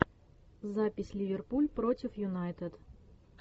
запись ливерпуль против юнайтед